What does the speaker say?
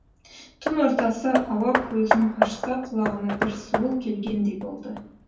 түн ортасы ауа көзін ашса құлағына бір суыл келгендей болды